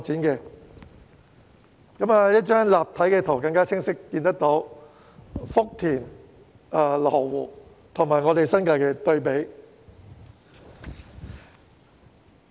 從這張立體圖，大家可更清晰看到福田和羅湖與新界的對比。